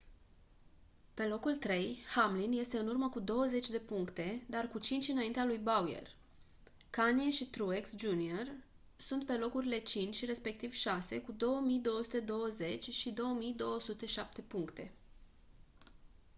pe locul trei hamlin este în urmă cu douăzeci de puncte dar cu cinci înaintea lui bowyer kahne și truex jr sunt pe locurile cinci și respectiv șase cu 2220 și 2207 puncte